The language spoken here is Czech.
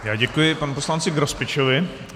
Já děkuji panu poslanci Grospičovi.